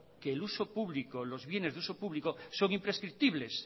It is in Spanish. que el uso público los bienes de uso público son imprescriptibles